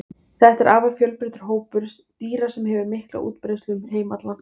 þetta er afar fjölbreyttur hópur dýra sem hefur mikla útbreiðslu um heim allan